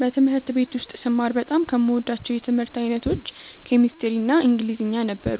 በትምህርት ቤት ውስጥ ስማር በጣም ከምወዳቸው የትምህርት አይነቶች ኬሚስትሪ እና ኢንግሊዝኛ ነበሩ።